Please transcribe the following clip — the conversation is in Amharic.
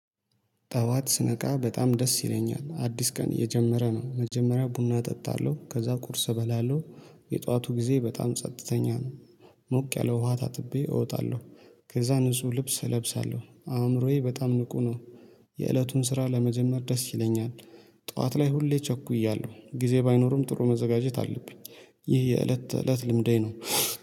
ጠዋት ስነቃ በጣም ደስ ይለኛል አዲስ ቀን እየጀመረ ነው መጀመሪያ ቡና እጠጣለሁ ከዛ ቁርስ እበላለሁ። የጧቱ ጊዜ በጣም ጸጥተኛ ነው። ሞቅ ያለ ውሃ ታጥቤ እወጣለሁ። ከዛ ንጹህ ልብስ እለብሳለሁ አእምሮዬ በጣም ንቁ ነው። የእለቱን ስራ ለመጀመር ደስ ይለኛል። ጠዋት ላይ ሁሌ ቸኩያለሁ ጊዜ ባይኖርም ጥሩ መዘጋጀት አለብኝ። ይህ የእለት ተእለት ልምዴ ነው